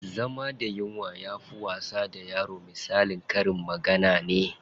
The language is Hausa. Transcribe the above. Zama da yunwa yafi wasa da yaro misalin karin magana ne.